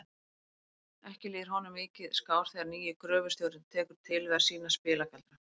Ekki líður honum mikið skár þegar nýi gröfustjórinn tekur til við að sýna spilagaldra.